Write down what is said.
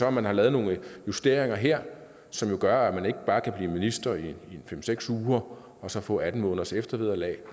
at man har lavet nogle justeringer her som gør at man ikke bare kan blive minister i en fem seks uger og så få atten måneders eftervederlag er